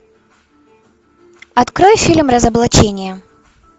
открой фильм разоблачение